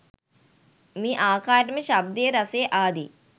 මේ ආකාරයටම ශබ්දය රසය ආදි